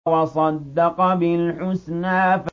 وَصَدَّقَ بِالْحُسْنَىٰ